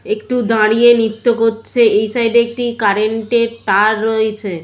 একটু দাঁড়িয়ে নৃত্য করছে। এই সাইড -এ একটি কারেন্ট -এর তার রয়েছে।